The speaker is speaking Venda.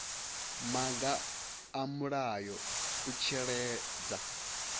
maga a mulayo u tsireledza